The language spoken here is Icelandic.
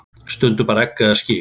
Stundum bara egg eða skyr.